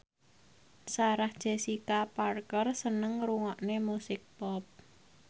Sarah Jessica Parker seneng ngrungokne musik pop